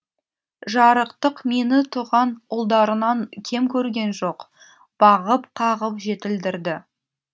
жарықтық мені туған ұлдарынан кем көрген жоқ бағып қағып жетілдірді